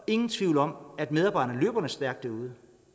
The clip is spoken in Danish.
ingen tvivl om at medarbejderne løber stærkt derude